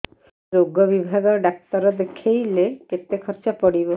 ସେଇ ରୋଗ ବିଭାଗ ଡ଼ାକ୍ତର ଦେଖେଇଲେ କେତେ ଖର୍ଚ୍ଚ ପଡିବ